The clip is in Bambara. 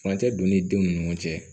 Furancɛ donni denw ni ɲɔgɔn cɛ